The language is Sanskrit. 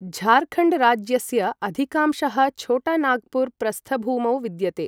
झार्खण्ड् राज्यस्य अधिकांशः छोटा नाग्पुर् प्रस्थभूमौ विद्यते।